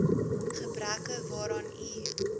gebreke waaraan u